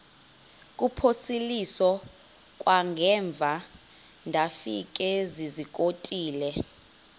kuphosiliso kwangaemva ndafikezizikotile